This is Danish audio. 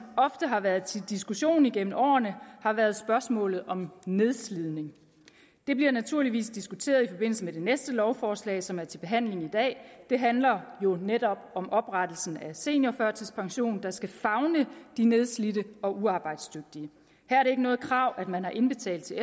ofte har været til diskussion igennem årene har været spørgsmålet om nedslidning det bliver naturligvis diskuteret i forbindelse med det næste lovforslag som er til behandling i dag det handler jo netop om oprettelsen af seniorførtidspensionen der skal favne de nedslidte og uarbejdsdygtige her er det ikke noget krav at man har indbetalt til